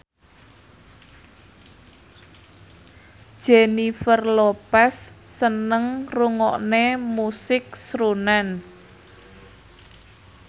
Jennifer Lopez seneng ngrungokne musik srunen